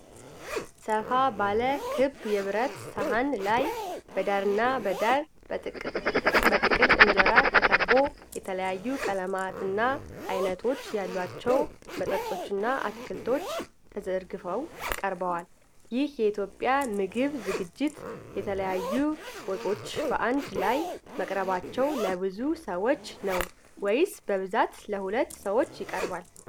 ሰፋ ባለ ክብ የብረት ሰሃን ላይ በዳርና በዳር በጥቅልል እንጀራ ተከቦ፣ የተለያዩ ቀለማትና አይነቶች ያሏቸው ወጦችና አትክልቶች ተዘርግፈው ቀርበዋል። ይህ የኢትዮጵያ ምግብ ዝግጅት የተለያዩ ወጦች በአንድ ላይ መቅረባቸው ለብዙ ሰው ነው ወይስ በብዛት ለሁለት ሰዎች ይቀርባል?